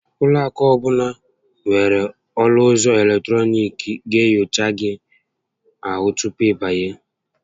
Ụlọ akụ ọbụla nwèrè ọnụ ụzọ eletọnịkị ga enyocha gị ahụ tupu ị banye